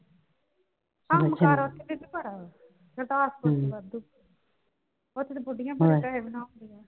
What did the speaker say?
ਕੰਮਕਾਰ ਉੱਥੇ ਬੀਬੀ ਬੜਾ ਏ . ਵਾਧੂ ਉੱਥੇ ਤੇ ਬੁੱਢੀਆਂ ਬੜੇ ਪੈਸੇ ਬਣਾਉਂਦੀਆਂ ਨੇ।